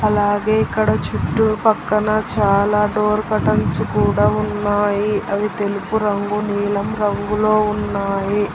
అలాగే ఇక్కడ చుట్టూ పక్కన చాలా డోర్ కటన్స్ కూడా ఉన్నాయి అవి తెలుపు రంగు నీలం రంగులో ఉన్నాయి.